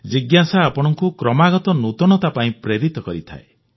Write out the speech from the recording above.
ଜିଜ୍ଞାସା ଆପଣଙ୍କୁ କ୍ରମାଗତ ନୂତନତା ପାଇଁ ପ୍ରେରିତ କରିଥାଏ